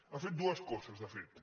han fet dues coses de fet